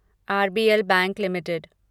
RBL bank limited